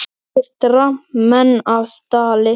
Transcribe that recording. Fellir dramb menn af stalli.